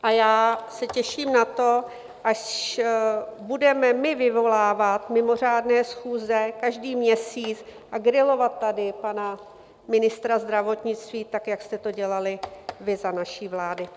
A já se těším na to, až budeme my vyvolávat mimořádné schůze každý měsíc a grilovat tady pana ministra zdravotnictví tak, jak jste to dělali vy za naší vlády.